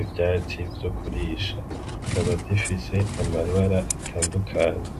ivyatsi vyo kurisha zikaba zifise amabara atandukanye.